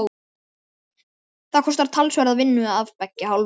Þetta kostar talsverða vinnu af beggja hálfu.